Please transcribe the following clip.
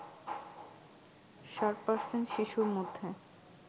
৬০% শিশুর মধ্যে